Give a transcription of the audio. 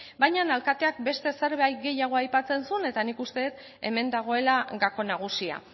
baina alkateak beste zerbait gehiago aipatzen zuen eta nik uste dut hemen dagoela gako nagusia